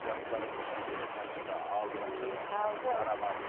жастары нешеде қаншада алды қаншада мектепке бара ма